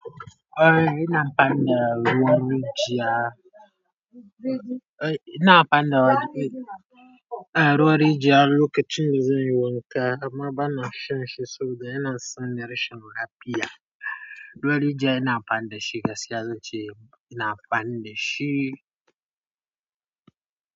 Eh ina amfani da ruwan rijiya. Eh ina amfani da, eh ruwan rijiya lokacin da zan yi wanka. Amma bana shan shi saboda yana sani rashin lafiya. Ruwan rijiya ina amfani da shi gaskiya zan ce ina amfani da shi.